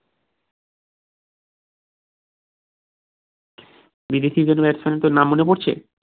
বিদেশি কোনো batsman এর নাম মনে পড়ছে